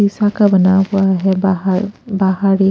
हिसा का बना हुआ है बाहर बाहर ही --